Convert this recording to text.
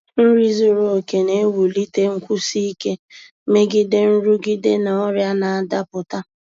Nri zuru oke na-ewulite nkwụsi ike megide nrụgide na ọrịa na-adapụta.